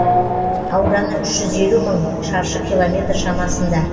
ауданы үш жүз елу мың мың шаршы километр шамасында